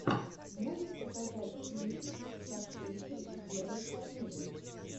можешь показать кинчик с актрисой верой фармигой